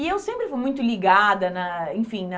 E eu sempre fui muito ligada na, enfim, na...